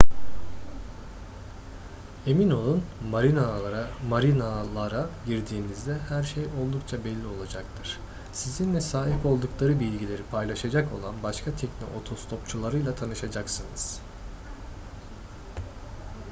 emin olun marinalara girdiğinizde her şey oldukça belli olacaktır sizinle sahip oldukları bilgileri paylaşacak olan başka tekne otostopçularıyla tanışacaksınız